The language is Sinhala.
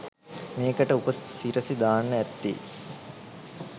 මේකට උප සිරැසි දාන්න ඇත්තේ